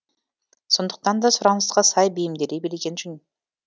сондықтан да сұранысқа сай бейімделе білген жөн